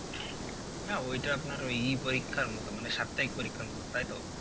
হ্যাঁ ওইটা আপনার ওই পরিক্ষার মতো মানে সাপ্তাহিক পরিক্ষার মতো তাই তো?